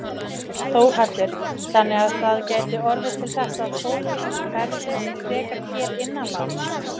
Þórhallur: Þannig að það gæti orðið til þess að fólk ferðist frekar hér innanlands?